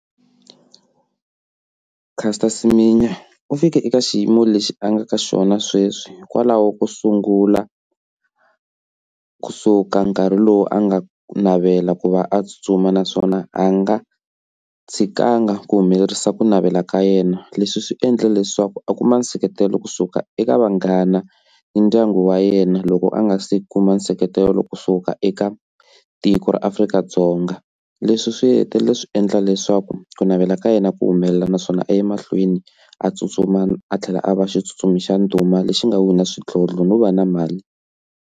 Caster Semenya u fikile eka xiyimo lexi a nga ka xona sweswi hikwalaho ko sungula kusuka nkarhi lowu a nga navela ku va a tsutsuma naswona a nga tshikanga ku humelerisa ku navela ka yena, leswi swi endla leswaku a kuma nseketelo kusuka eka vanghana ni ndyangu wa yena loko a nga se kuma nseketelo kusuka eka tiko ra Afrika-Dzonga, leswi swi hetelele swi endla leswaku ku navela ka yena ku humelela naswona a ya emahlweni a tsutsuma a tlhela a va xitsutsumi xa ndhuma lexi nga wina swidlodlo no va na mali.